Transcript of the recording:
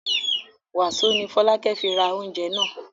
Wàsó ni Fọlákẹ́ fi ra oúnjẹ náà?